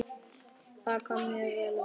Það kom mjög vel út.